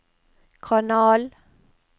kanal